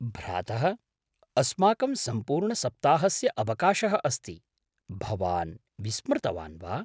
भ्रातः! अस्माकं सम्पूर्णसप्ताहस्य अवकाशः अस्ति, भवान् विस्मृतवान् वा?